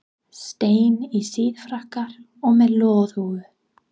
steinn, í síðfrakka og með loðhúfu.